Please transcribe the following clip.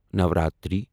Navratri